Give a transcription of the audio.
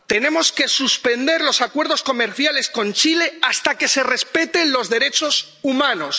Tenemos que suspender los acuerdos comerciales con Chile hasta que se respeten los derechos humanos.